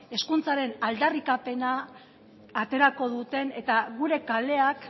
hezkuntzaren aldarrikapena aterako duten eta gure kaleak